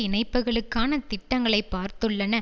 இணைப்புக்களுக்கான திட்டங்களை பார்த்துள்ளன